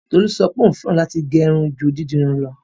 Tolú sọ pé òún fẹ́ràn láti gẹ́ irun ju dídirun lọ.